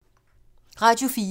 Radio 4